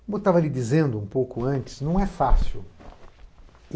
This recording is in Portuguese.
Como eu estava lhe dizendo um pouco antes, não é fácil.